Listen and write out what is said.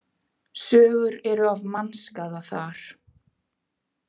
Sögur eru af mannskaða þar.